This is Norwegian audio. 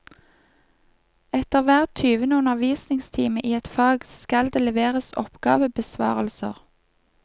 Etter hver tyvende undervisningstime i et fag, skal det leveres oppgavebesvarelser.